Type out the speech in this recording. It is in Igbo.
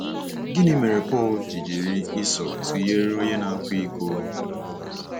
Gịnị mere Pọl ji jiri Esau tụnyere onye na-akwa iko?